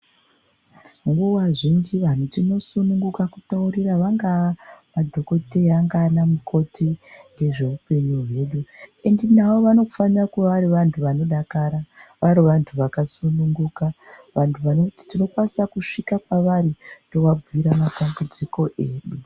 Nguwa zhinji vantu tinosununguka kutaurira vangaa madhokodheya vangaa vana mukoti ngezvee upenyu hwedu endi navo vanofanira kuva vari vantu vanodakara, vari vantu vakasununguka, vantu vanoti tinokwanisa kusvika kwavari tovabhuira matambudziko edu.